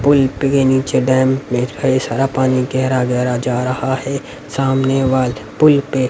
पुल पे नीचे डैम में सारा पानी गहरा गहरा जा रहा है सामने वॉल पुल पे--